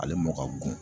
Ale mɔ ka go